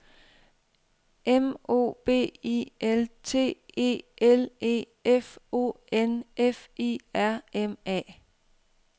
M O B I L T E L E F O N F I R M A